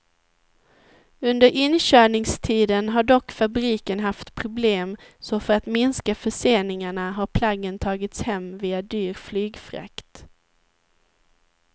Under inkörningstiden har dock fabriken haft problem så för att minska förseningarna har plaggen tagits hem via dyr flygfrakt.